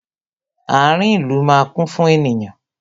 Ààrin ìlú máa kún fún ènìyàn